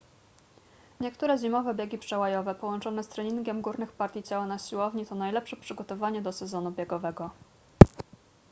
niektóre zimowe biegi przełajowe połączone z treningiem górnych partii ciała na siłowni to najlepsze przygotowanie do sezonu biegowego